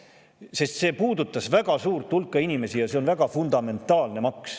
Sest see puudutas väga suurt hulka inimesi ja see on väga fundamentaalne maks.